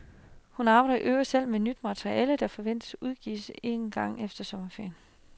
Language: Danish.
Hun arbejder i øvrigt selv med nyt materiale, der forventes udgivet en gang efter sommerferien.